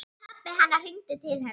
Pabbi hennar hringdi til hennar.